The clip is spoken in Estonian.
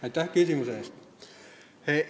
Aitäh küsimuse eest!